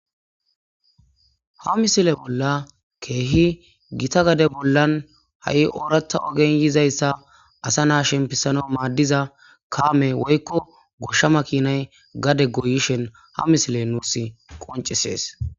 Ha misile bolla keehi gita gade bollan ha7i oorata ogenyizayssa asa naa shempisano maaddiza kaame woykko goshshama kinay gade goyishen ha misile nuus qoncisees.